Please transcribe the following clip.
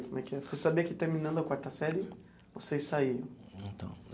Você sabia que terminando a quarta série vocês saíam? Então.